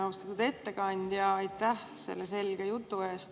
Austatud ettekandja, aitäh selle selge jutu eest!